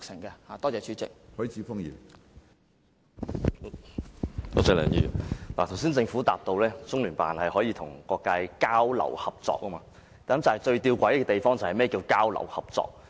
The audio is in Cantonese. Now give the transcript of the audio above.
政府當局剛才回答，中聯辦可與各界交流合作，但最弔詭的是，何謂"交流合作"。